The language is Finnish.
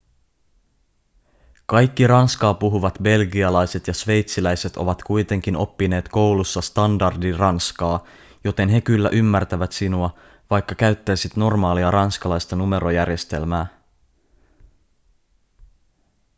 kaikki ranskaa puhuvat belgialaiset ja sveitsiläiset ovat kuitenkin oppineet koulussa standardiranskaa joten he kyllä ymmärtävät sinua vaikka käyttäisit normaalia ranskalaista numerojärjestelmää